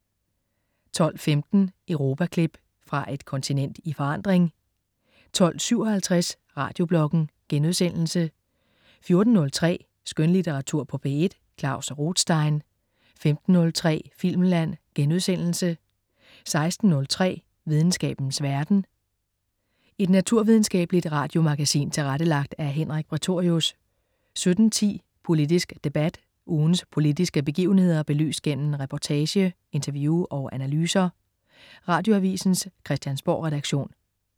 12.15 Europaklip. Fra et kontinent i forandring 12.57 Radiobloggen* 14.03 Skønlitteratur på P1. Klaus Rothstein 15.03 Filmland* 16.03 Videnskabens verden. Et naturvidenskabeligt radiomagasin tilrettelagt af Henrik Prætorius 17.10 Politisk debat. Ugens politiske begivenheder belyst gennem reportage, interview og analyser. Radioavisens Christiansborgredaktion